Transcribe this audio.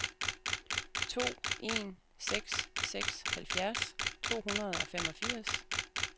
to en seks seks halvfjerds to hundrede og femogfirs